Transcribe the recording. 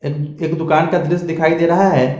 एक दुकान का दृश्य दिखाई दे रहा है।